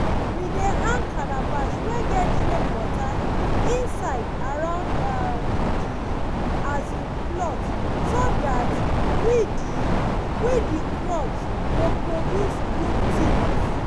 we dey hang calabash wey get rainwater inside around um the um plot so that we the we the crop go produce good thing.